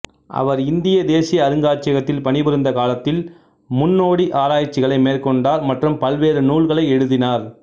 அவர் இந்திய தேசிய அருங்காட்சியகத்தில் பணிபுரிந்த காலத்தில் முன்னோடி ஆராய்ச்சிகளை மேற்கொண்டார் மற்றும் பல்வேறு நூல்களை எழுதினார்